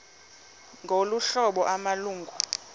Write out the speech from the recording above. ngolu hlobo amalungu